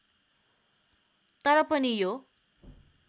तर पनि यो